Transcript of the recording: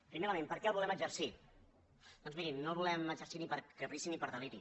primer element per què el volem exercir doncs mirin no el volem exercir ni per caprici ni per deliri